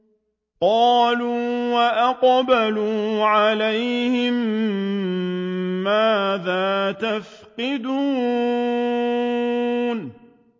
قَالُوا وَأَقْبَلُوا عَلَيْهِم مَّاذَا تَفْقِدُونَ